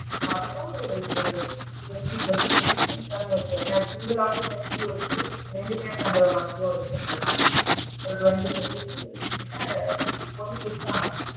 பாத்தினா ஒரு ஒரு twenty to twenty five people இருக்காங்கன்னு வச்சுக்கோயேன் ஏன்னா single லாவும் தங்குற மாதிரி இருக்கு, ரெண்டு பேரு தங்குற மாதிரியும் இருகிரதுனால twenty people கிட்ட இப்போதைக்கு இருக்கிறாங்க.